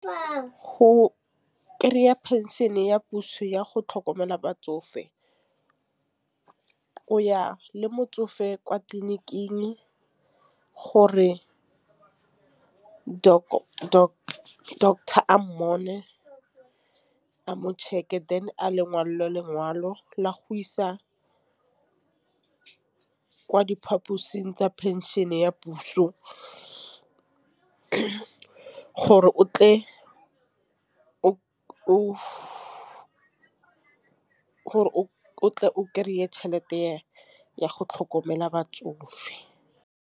Go kry-a phenšene ya puso ya go tlhokomela batsofe. O ya le motsofe kwa tleliniking gore ke doctor a check-a lengwe le lengwe jalo la go isa kwa diphaposing tsa pension ya puso gore o tle o gore o tle o kry-e tšhelete ya go tlhokomela batsofe.